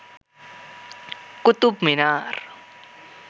Qutub Minar